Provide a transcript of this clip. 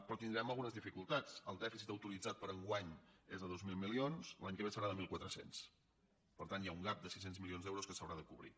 però tindrem algunes dificultats el dèficit autoritzat per a enguany és de dos mil milions l’any que ve serà de mil quatre cents per tant hi ha un gapque s’haurà de cobrir